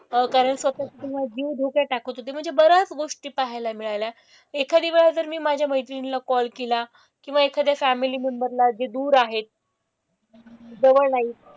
अह कारण स्वतःचा किंवा जीव धोक्यात टाकत होते. म्हणजे बऱ्याच गोष्टी पाहायला मिळाल्या. एखाद्या वेळी जर मी माझ्या मैत्रिणीला कॉल केला किंवा एखाद्या फॅमिली मेंबर ला जे दूर आहेत जवळ नाहीत,